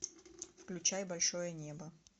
включай большое небо